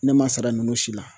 Ne ma sara ninnu si la